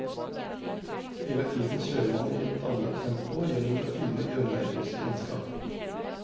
Hele tiden kjører man i dannet tempo gjennom det fine grønne engelske landskap.